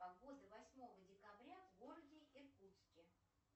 погода восьмого декабря в городе иркутске